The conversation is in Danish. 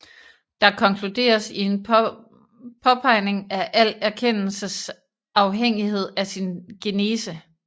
Der konkluderes i en påpegning af al erkendelses afhængighed af sin genese